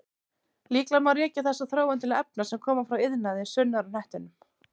Líklega má rekja þessa þróun til efna sem koma frá iðnaði sunnar á hnettinum.